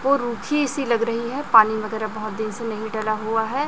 वो रुखि जैसी लग रहीं है पानी वगैरा बहोत दिन से नहीं डला हुआ है।